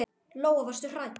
Lóa: Varstu hrædd?